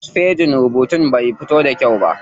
Wasu fejin rubutun bai fito da kyau ba.